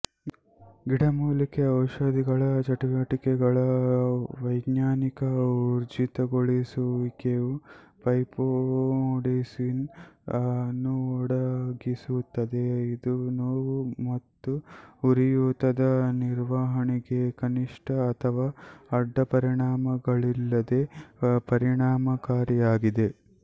ಗಿಡಮೂಲಿಕೆ ಔಷಧಿಗಳ ಚಟುವಟಿಕೆಗಳ ವೈಜ್ಞಾನಿಕ ಊರ್ಜಿತಗೊಳಿಸುವಿಕೆಯು ಫೈಟೊಮೆಡಿಸಿನ್ ಅನ್ನುಒದಗಿಸುತ್ತದೆ ಇದು ನೋವು ಮತ್ತುಉರಿಯೂತದ ನಿರ್ವಹಣೆಗೆ ಕನಿಷ್ಠ ಅಥವಾ ಅಡ್ಡಪರಿಣಾಮಗಳಿಲ್ಲದೆ ಪರಿಣಾಮಕಾರಿಯಾಗಿದೆ